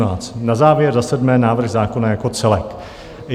Na závěr za sedmé návrh zákona jako celek.